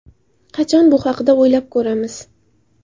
Qachon bu haqda o‘ylab ko‘ramiz?!